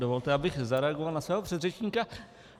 Dovolte, abych zareagoval na svého předřečníka.